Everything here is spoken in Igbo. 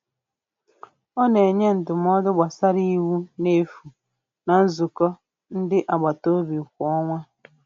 Ọ na-enye ndụmọdụ gbasara iwu n'efu na nzukọ ndị agbataobi kwa ọnwa.